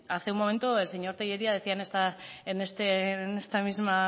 hace un momento el señor tellería decía en este mismo